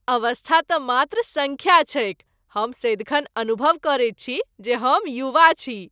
अवस्था तँ मात्र सङ्ख्या छैक। हम सदिखन अनुभव करैत छी जे हम युवा छी।